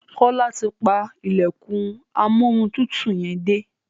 Kola ti pá ilẹkùn Amóhuntutù yén dé.